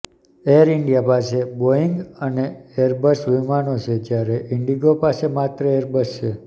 air India પાસે Boeing અને Airbus વિમાનો છે જ્યારે ઇન્ડિગો પાસે માત્ર એરબસ છે